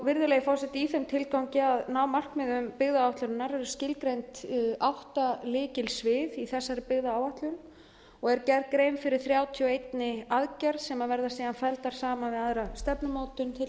virðulegi forseti í þeim tilgangi að ná markmiðum byggðaáætlunar eru skilgreind átta lykilsvið í þessari byggðaáætlun og er gerð grein fyrir þrjátíu og ein aðgerð sem verða síðan felldar saman við aðra stefnumótun til dæmis á sviði